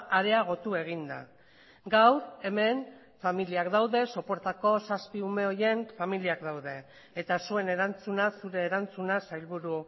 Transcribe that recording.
areagotu egin da gaur hemen familiak daude sopuertako zazpi ume horien familiak daude eta zuen erantzuna zure erantzuna sailburu